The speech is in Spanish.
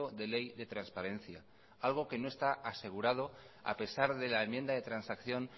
de ley de transparencia algo que no está asegurado a pesar de la enmienda de transacción